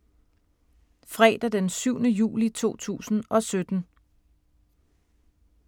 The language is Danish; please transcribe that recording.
Fredag d. 7. juli 2017